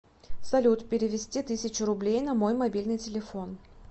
салют перевести тысячу рублей на мой мобильный телефон